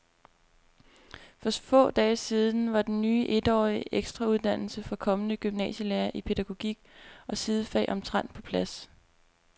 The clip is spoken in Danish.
For få dage siden var den ny etårige ekstrauddannelse for kommende gymnasielærere i pædagogik og sidefag omtrent på plads.